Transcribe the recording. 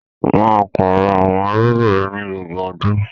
Maa páarọ̀ awọn irugbin rẹ ni gbogbo ọdún!